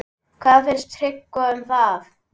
Hvað fannst Tryggva um það?